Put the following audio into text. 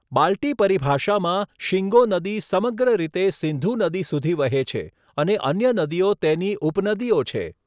બાલ્ટી પરિભાષામાં, શિંગો નદી સમગ્ર રીતે સિંધુ નદી સુધી વહે છે, અને અન્ય નદીઓ તેની ઉપનદીઓ છે.